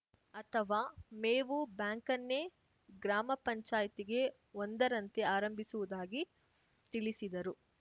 ಅಥವಾ ಮೇವು ಬ್ಯಾಂಕನ್ನೇ ಗ್ರಾಮ ಪಂಚಾಯ್ತಿಗೆ ಒಂದರಂತೆ ಆರಂಭಿಸುವುದಾಗಿ ತಿಳಿಸಿದರು